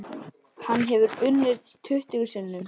Hann hefur unnið tuttugu sinnum.